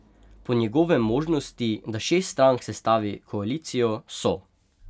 Po njegovem možnosti, da šest strank sestavi koalicijo, so.